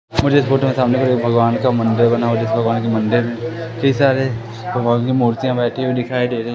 मुझे इस फोटो के सामने कोई भगवान का मंदिर बना हुआ है जिस भगवान के मंदिर में कई सारे भगवान की मूर्तियां बैठी हुई दिखाई दे रही है।